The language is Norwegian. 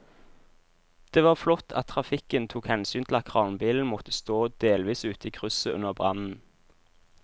Det var flott at trafikken tok hensyn til at kranbilen måtte stå delvis ute i krysset under brannen.